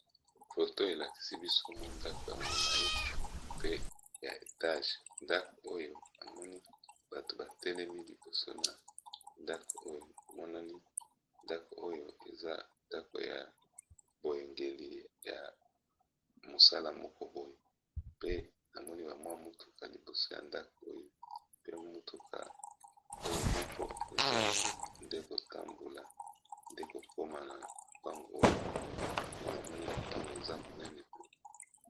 Foto elakisi biso mwa ndako ya molai pe ya etage ndakoyo namoni bato ba telemi liboso na ndako oyo namonani ndako oyo eza ndako ya boyangeli ya mosala moko boye, pe namoni ba mwa motuka liboso ya ndako oyo pe motuka oyo moko eza nde ko tambola nde kokoma na lopango oyo pe namoni lopango eza monene.